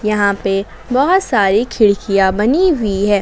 यहां पे बहोत सारी खिड़कियां बनी हुई है।